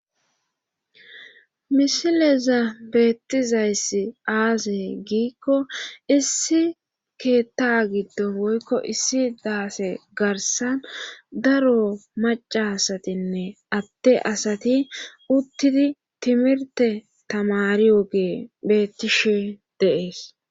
misileza beettizayssi aazey giikko issi keetta giddo boykko issi daase garsan daro maca asatinne atte asati uttidi timirte tamariogee beettishe deees